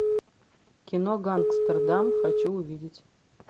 кино гангстердам хочу увидеть